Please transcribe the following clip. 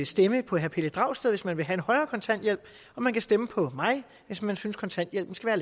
stemme på herre pelle dragsted hvis man vil have en højere kontanthjælp og man kan stemme på mig hvis man synes kontanthjælpen skal